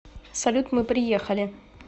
салют мы приехали